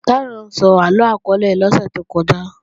Táyọ̀ ń sọ àlọ akọọ́lẹ̀ lọ́sẹ̀ tó kọjá